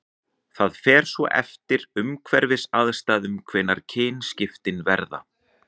Það fer svo eftir umhverfisaðstæðum hvenær kynskiptin verða.